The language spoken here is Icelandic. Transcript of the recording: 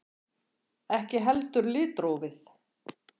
Ekki heldur litrófið.